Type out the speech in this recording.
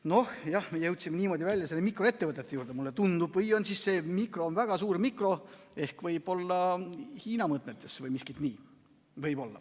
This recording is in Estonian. " No jah, me jõudsime niimoodi välja selle mikroettevõtte juurde, mulle tundub, või siis on see mikro väga suur mikro, võib-olla Hiina mõõtmetes või miskit nii.